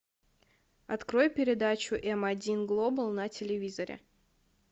открой передачу м один глобал на телевизоре